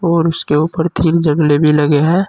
और उसके ऊपर थिन जगले भी लगे हैं।